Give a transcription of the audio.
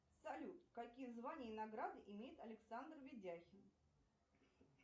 салют какие звания и награды имеет александр видяхин